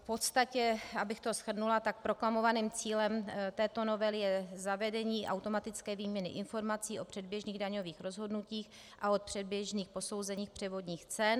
V podstatě, abych to shrnula, tak proklamovaným cílem této novely je zavedení automatické výměny informací o předběžných daňových rozhodnutích a o předběžných posouzeních převodních cen.